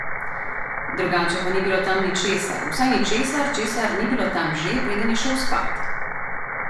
Drugače pa ni bilo tam ničesar, vsaj ničesar, česar ni bilo tam že, preden je šel spat.